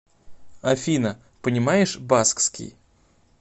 афина понимаешь баскский